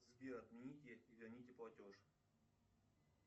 сбер отмените и верните платеж